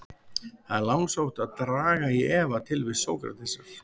Það er langsótt að draga í efa tilvist Sókratesar.